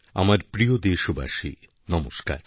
আমার প্রিয় দেশবাসী নমস্কার